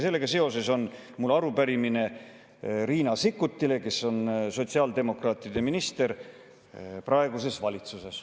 Sellega seoses on mul arupärimine Riina Sikkutile, kes on sotsiaaldemokraatide minister praeguses valitsuses.